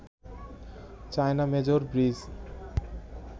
China major bridge